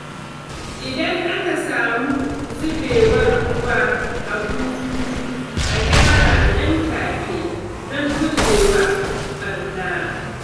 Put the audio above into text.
Idan aka samu zubewar ruwa a bututu, a gyara nan take don gujewa ɓarna.